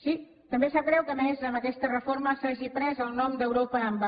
sí també sap greu que a més amb aquesta reforma s’hagi pres el nom d’europa en va